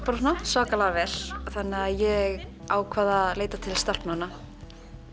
svakalega vel þannig að ég ákvað að leita til stelpnanna